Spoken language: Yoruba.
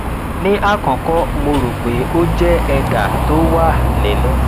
ní àkọkọ mo rò pé ó jẹ ẹdà tó wà nínú